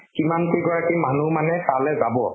কিমান কেই গৰাকী মানুহ মানে তালৈ যাব,